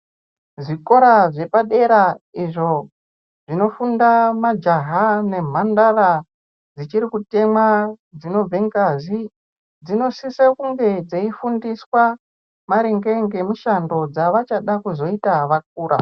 Zvikora zvepadera zvinofunda majaha nemhandara dzichiri kutemwa dzinobva ngazi dzinosisa kunge dzeifundisaa maringe nemishando dzavachada kuzoita vakura.